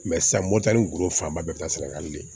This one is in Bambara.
sisan moto golo fanba bɛɛ bi taa saragali de